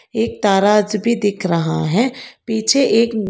एक दराज भी दिख रहा हैं पीछे एक--